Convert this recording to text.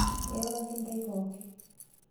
Kairoroki ntai pooki